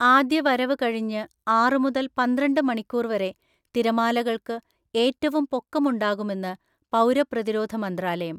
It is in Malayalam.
ആദ്യ വരവ് കഴിഞ്ഞ് ആറ് മുതൽ പന്ത്രണ്ട് മണിക്കൂർ വരെ തിരമാലകൾക്ക് ഏറ്റവും പൊക്കം ഉണ്ടാകുമെന്ന് പൗരപ്രതിരോധ മന്ത്രാലയം